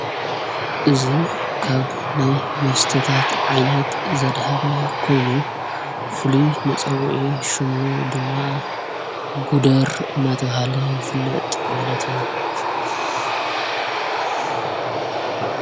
እዙ ካብ ናይ መስተታት ዓይነት ዘብሃል ኮይኑ ፍሉይ መጸውዐ ሹሙ ድማ ግደር እናተብሃለ ይፍለጥ ማለት እዩ።